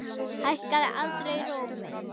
Hækkaði aldrei róminn.